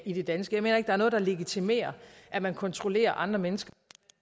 i det danske jeg mener ikke at der der legitimerer at man kontrollerer andre mennesker